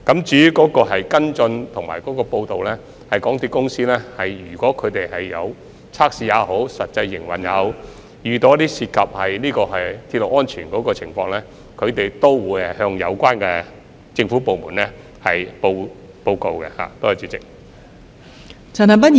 至於跟進及匯報，如果港鐵公司在測試或實際營運時遇到涉及鐵路安全的情況，港鐵公司也會向有關政府部門報告。